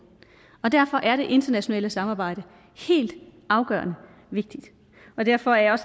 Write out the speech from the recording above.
derfor er det internationale samarbejde helt afgørende vigtigt og derfor er